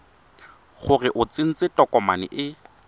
gore o tsentse tokomane e